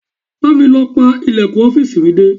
Bá mi lọ pa ìlẹ̀kùn ọ́fíìsì mi dé.